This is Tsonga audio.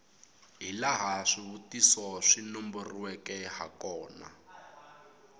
hilaha swivutiso swi nomboriweke hakona